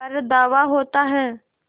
पर धावा होता है